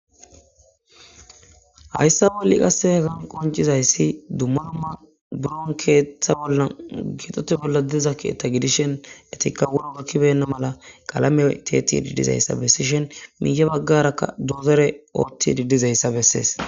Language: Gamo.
Hayssa bolli qassehezan qoncizayssi dumma dumma buron keeththa bolla gidote bolla diza keetta gidishen etikka wuro gakkibenna mala qalame teti diddizayssa bessishen miiya baggarakka dozere oothti diddizayssa bessees.